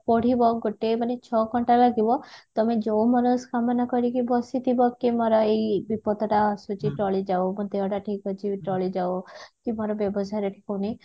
ପଢିବ ଗୋଟେ ମାନେ ଛଅ ଘଣ୍ଟା ଲାଗିବ ତମେ ଯଉ ମନସ୍କାମନା କରିକି ବସିଥିବ କି ମୋର ଏଇ ବିପଦ ଟା ଆସୁଛି ଟଳିଯାଉ ମୋ ଦେହ ଟା ଠିକ ଅଛି ଟଳିଯାଉ କି ମୋର ବ୍ୟବସାୟରେ ଠିକ ହଉନି